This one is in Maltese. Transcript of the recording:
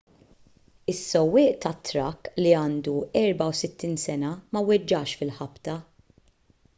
is-sewwieq tat-trakk li għandu 64 sena ma weġġax fil-ħabta